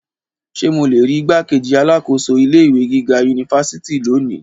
Ṣe mo le rii igbákejì alákòóso ilé ìwé gíga unifásitì loni?